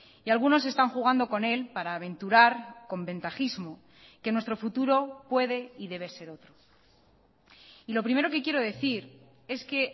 y algunos están jugando con él para aventurar con ventajismo que nuestro futuro puede y debe ser otro y lo primero que quiero decir es que